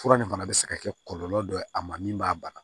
Fura nin fana bɛ se ka kɛ kɔlɔlɔ dɔ ye a ma min b'a bana